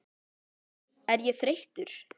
Er ég þreyttur?